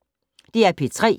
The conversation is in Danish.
DR P3